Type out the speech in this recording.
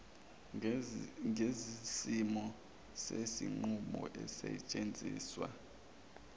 ngezimiso zezinqumo ezisetshenziswa